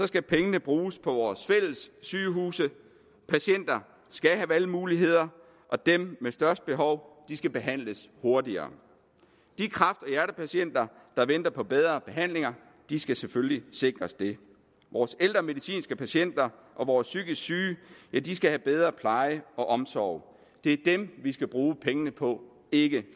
skal pengene bruges på vores fælles sygehuse patienter skal have valgmuligheder og dem med størst behov skal behandles hurtigere de kræft og hjertepatienter der venter på bedre behandlinger skal selvfølgelig sikres det vores ældre medicinske patienter og vores psykisk syge skal have bedre pleje og omsorg det er dem vi skal bruge pengene på ikke